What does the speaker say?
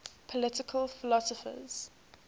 political philosophers